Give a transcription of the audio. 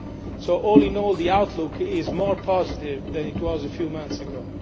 So, all in all, the outlook is more positive than it was a few months ago.